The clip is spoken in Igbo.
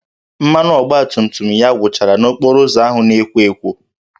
Mmanụ ọgbatumtum ya gwụchara n'okporo ụzọ ahụ na-ekwo ekwo